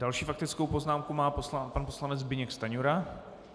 Další faktickou poznámku má pan poslanec Zbyněk Stanjura.